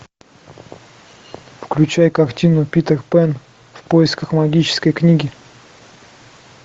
включай картину питер пэн в поисках магической книги